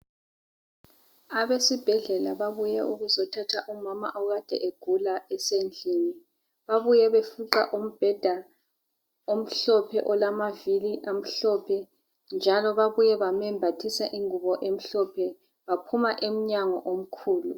Abesibhedlela babuye ukuzothatha umama okade egula esendlini. Babuye befuqa umbheda omhlophe olamavili amhlophe njalo babuye bamembathisa ingubo emhlophe baohuma emnyango omkhulu.